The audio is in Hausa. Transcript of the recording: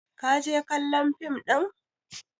ka je kallon fim ɗin!